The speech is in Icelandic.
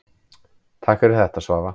Takk fyrir þetta Svava.